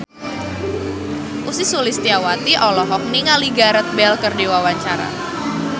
Ussy Sulistyawati olohok ningali Gareth Bale keur diwawancara